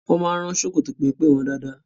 Wọ́n máa ń rán ṣòkòtò pẹ́mpẹ́ wọn dáadáa.